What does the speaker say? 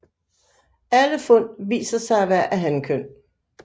Alle fund viste sig at være af hankøn